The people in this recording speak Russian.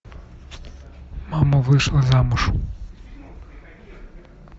мама вышла замуж